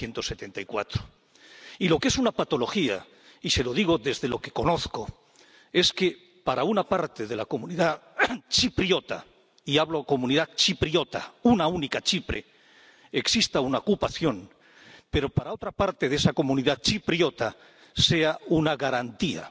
1974. Y lo que es una patología, y se lo digo desde lo que conozco, es que, para una parte de la comunidad chipriota —y hablo de comunidad chipriota, una única Chipre—, exista una ocupación, pero para otra parte de esa comunidad chipriota sea una garantía.